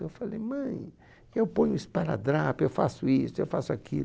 Eu falei, mãe, eu ponho um esparadrapo, eu faço isso, eu faço aquilo.